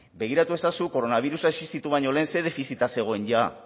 begiratu ezazu koronabirusa existitu baino lehen ze defizita zegoen jada